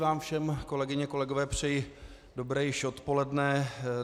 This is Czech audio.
Vám všem, kolegyně, kolegové, přeji dobré již odpoledne.